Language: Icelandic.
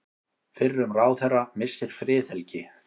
Fyrrum ráðherra missir friðhelgi